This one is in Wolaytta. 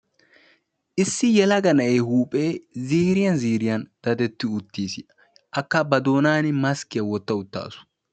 Issi yelaga na'ee huuphe ziiriyan ziiriyna daddettiis. Akka ba doonan maskkiya wottassu.